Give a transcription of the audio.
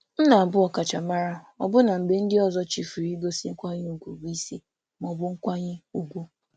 M na-anọgide na-enwe ọkachamara ọbụlagodi mgbe ndị ọzọ chefuo igosipụta nkwanye ùgwù ma ọ bụ nkwanye ùgwù dị mfe.